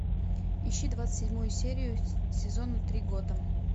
ищи двадцать седьмую серию сезона три готэм